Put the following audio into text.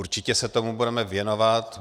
Určitě se tomu budeme věnovat.